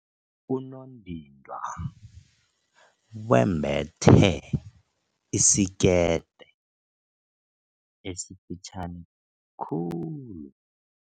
Unondindwa wembethe isikete esifitjhani khulu.